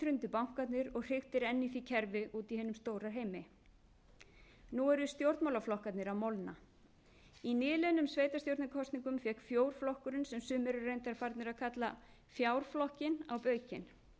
hrundu bankarnir og hriktir enn í því kerfi úti í hinum stóra heimi nú eru stjórnmálaflokkarnir að molna í nýliðnum sveitarstjórnarkosningum fékk fjórflokkurinn sem sumir eru reyndar farnir að kalla fjárflokkinn á baukinn hugmyndafræði